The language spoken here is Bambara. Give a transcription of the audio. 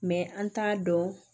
an t'a dɔn